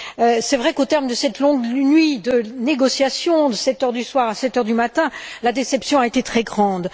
Il est vrai qu'au terme de cette longue nuit de négociation, de 7 heures du soir à 7 heures du matin, la déception a été très grande.